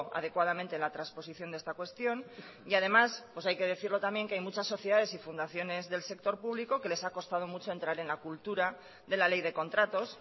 adecuadamente la transposición de esta cuestión y además hay que decirlo también que hay muchas sociedades y fundaciones del sector público que les ha costado mucho entrar en la cultura de la ley de contratos